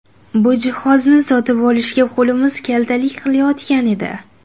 Bu jihozni sotib olishga qo‘limiz kaltalik qilayotgan edi.